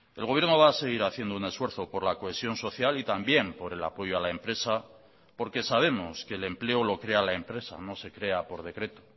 el gobierno va a seguir haciendo un esfuerzo por la cohesión social y también por el apoyo a la empresa porque sabemos que el empleo lo crea la empresa no se crea por decreto